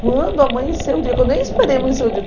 Quando amanheceu o dia, que eu nem esperei amanhecer o dia.